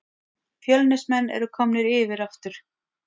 Fjölnismenn eru komnir yfir aftur